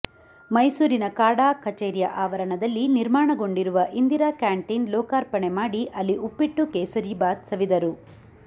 ಮೈಸೂರಿನ ಕಾಡಾ ಕಚೇರಿಯ ಅವರಣದಲ್ಲಿ ನಿರ್ಮಾಣಗೊಂಡಿರುವ ಇಂದಿರಾ ಕ್ಯಾಂಟಿನ್ ಲೋಕಾರ್ಪಣೆ ಮಾಡಿ ಅಲ್ಲಿ ಉಪ್ಪಿಟ್ಟು ಕೇಸರಿ ಬಾತ್ ಸವಿದರು